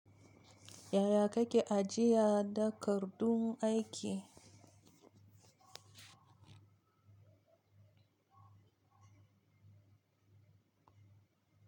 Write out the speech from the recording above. Yaya kake ajiya da kar dun aiki?